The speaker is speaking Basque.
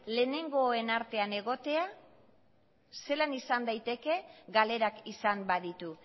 lehenengoen artean egotea zelan izan daiteke galerak izan baditu